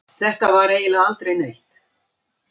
Þetta var eiginlega aldrei neitt.